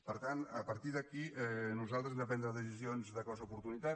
per tant a partir d’aquí nosaltres hem de prendre decisions de cost d’oportunitat